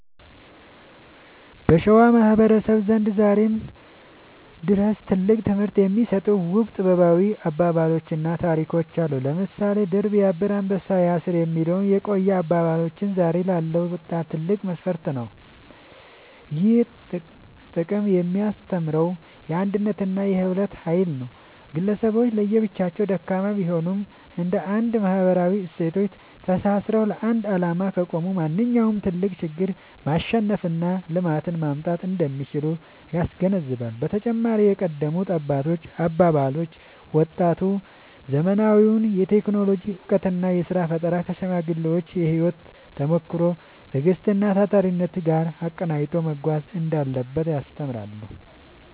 በሸዋ ማህበረሰብ ዘንድ ዛሬም ድረስ ትልቅ ትምህርት የሚሰጡ ውብ ጥበባዊ አባባሎችና ታሪኮች አሉ። ለምሳሌ «ድር ቢያብር አንበሳ ያስር» የሚለው የቆየ አባባላችን ዛሬ ላለው ወጣት ትልቅ መፈክር ነው። ይህ ጥቅስ የሚያስተምረው የአንድነትንና የህብረትን ኃይል ነው። ግለሰቦች ለብቻቸው ደካማ ቢሆኑም፣ እንደ አንድ ማህበራዊ እሴቶች ተሳስረው ለአንድ ዓላማ ከቆሙ ማንኛውንም ትልቅ ችግር ማሸነፍና ልማትን ማምጣት እንደሚችሉ ያስገነዝባል። በተጨማሪም የቀደሙት አባቶች አባባሎች፣ ወጣቱ ዘመናዊውን የቴክኖሎጂ እውቀትና የሥራ ፈጠራ ከሽማግሌዎች የህይወት ተሞክሮ፣ ትዕግስትና ታታሪነት ጋር አቀናጅቶ መጓዝ እንዳለበት ያስተምራሉ።